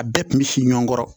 A bɛɛ kun bɛ si ɲɔgɔn kɔrɔ